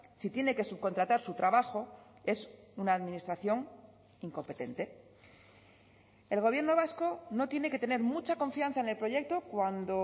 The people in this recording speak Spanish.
si tiene que subcontratar su trabajo es una administración incompetente el gobierno vasco no tiene que tener mucha confianza en el proyecto cuando